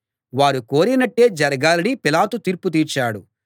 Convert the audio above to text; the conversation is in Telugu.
వారు కోరినట్టే జరగాలని పిలాతు తీర్పు తీర్చాడు